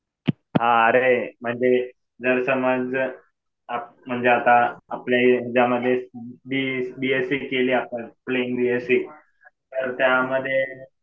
अरे म्हणजे जर समज म्हणजे आता आपल्या ह्याच्यामध्ये बीएससी केली आपण, प्लेन बीएससी. तर त्यामध्ये